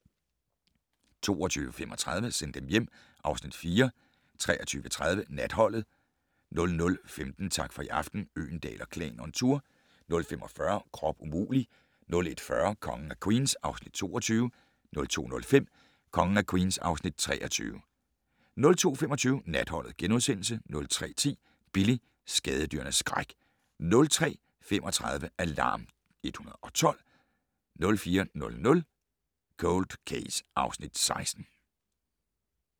22:35: Send dem hjem (Afs. 4) 23:30: Natholdet 00:15: Tak for i aften - Øgendahl & Klan on tour 00:45: Krop umulig! 01:40: Kongen af Queens (Afs. 22) 02:05: Kongen af Queens (Afs. 23) 02:25: Natholdet * 03:10: Billy - skadedyrenes skræk 03:35: Alarm 112 04:00: Cold Case (Afs. 16)